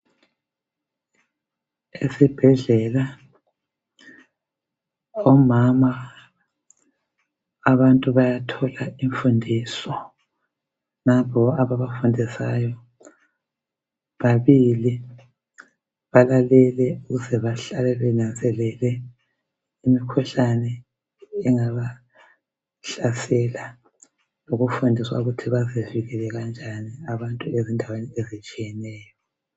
Esibhedlela omama abantu bayathola imfundiso. Nampo ababafundisayo babili balalele ukuze bahlale benanzelele imkuhlane engaba hlasela. Lokufundiswa ukuthi bazivikele kanjani abantu ezindaweni ezitshiyeneyo.